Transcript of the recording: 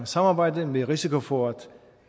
samarbejde med risiko for at